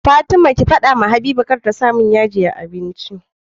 Fatima ki fada wa habiba kar ta samun yaji a abinci